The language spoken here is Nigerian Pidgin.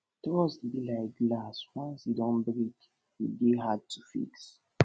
trust be like glass once e don break e de dey hard to fix